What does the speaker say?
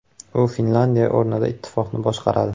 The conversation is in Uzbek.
U Finlyandiya o‘rnida ittifoqni boshqaradi.